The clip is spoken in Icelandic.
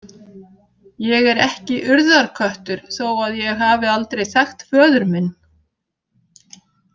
Ég er ekki Urðarköttur þó að ég hafi aldrei þekkt föður minn.